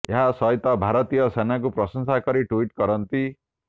ଏହା ସହିତ ଭାରତୀୟ ସେନାକୁ ପ୍ରଶଂସା କରି ଟ୍ୱିଟ୍ କରନ୍ତି